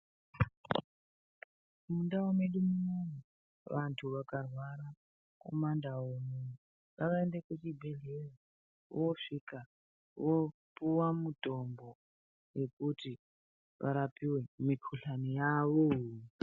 Mundau medu munomu vantu vakarwara kumandau unono ngavaende kuchibhedhlera vosvika vopuwa mutombo wekuti varapike mikuhlani yavo.